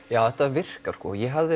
já þetta virkar ég hafði